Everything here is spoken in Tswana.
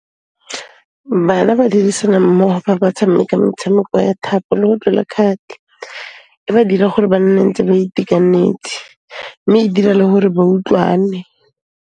Bana ba dirisana mmogo fa ba tshameka metshameko ya thapo le . E ba dira gore ba nne ntse ba itekanetse mme e dira le gore ba utlwane.